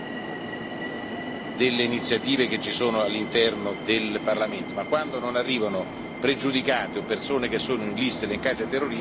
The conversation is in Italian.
Il Presidente non autorizza eventi, semmai può vietare delle iniziative che ci sono all'interno del Parlamento.